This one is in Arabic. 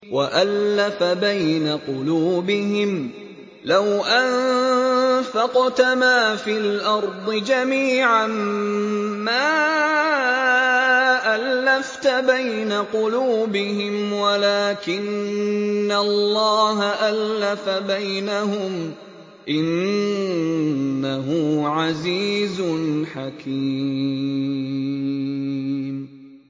وَأَلَّفَ بَيْنَ قُلُوبِهِمْ ۚ لَوْ أَنفَقْتَ مَا فِي الْأَرْضِ جَمِيعًا مَّا أَلَّفْتَ بَيْنَ قُلُوبِهِمْ وَلَٰكِنَّ اللَّهَ أَلَّفَ بَيْنَهُمْ ۚ إِنَّهُ عَزِيزٌ حَكِيمٌ